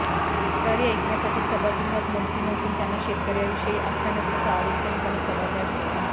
तक्रारी ऐकण्यासाठी सभागृहात मंत्री नसून त्यांना शेतकर्यांविषयी आस्था नसल्याचा आरोप करून सभात्याग केला